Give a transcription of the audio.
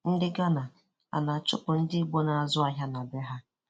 Ndị Ghana, ana-achụpụ ndị igbo na-azụ ahịa na be ha?